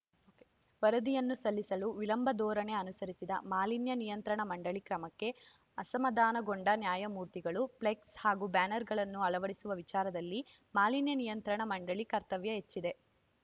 ವರದಿಯನ್ನು ಸಲ್ಲಿಸಲು ವಿಳಂಬ ಧೋರಣೆ ಅನುಸರಿಸಿದ ಮಾಲಿನ್ಯ ನಿಯಂತ್ರಣ ಮಂಡಳಿ ಕ್ರಮಕ್ಕೆ ಅಸಮಾಧಾನಗೊಂಡ ನ್ಯಾಯಮೂರ್ತಿಗಳು ಫ್ಲೆಕ್ಸ್‌ ಹಾಗೂ ಬ್ಯಾನರ್‌ಗಳನ್ನು ಅಳವಡಿಸುವ ವಿಚಾರದಲ್ಲಿ ಮಾಲಿನ್ಯ ನಿಯಂತ್ರಣ ಮಂಡಳಿ ಕರ್ತವ್ಯ ಹೆಚ್ಚಿದೆ